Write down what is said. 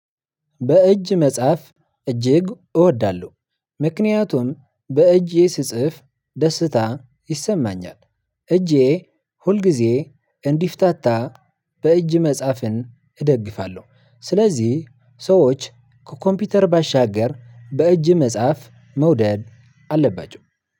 በእጅ መጻፍ እጅግ እወዳለሁ ምክንያቱም በእጄ ስጽፍ ደስታ ይሰማኛል እጄ ሁልጊዜ እንዲፈታታ በእጅ መጻፍን እደግፋለሁ፤ ስለዚህ ሰዎች ከኮምፒውተር ባሻገር በእጅ መጻፍ መውደድ አለባቸው።